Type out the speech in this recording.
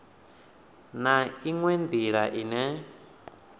na u oa nila ine